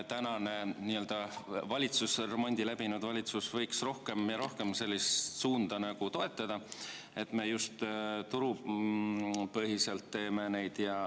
Kas nüüdne remondi läbinud valitsus võiks rohkem ja rohkem sellist suunda toetada, et me teeme neid just turupõhiselt?